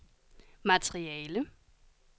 materiale